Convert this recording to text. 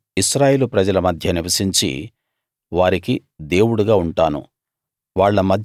నేను ఇశ్రాయేలు ప్రజల మధ్య నివసించి వారికి దేవుడుగా ఉంటాను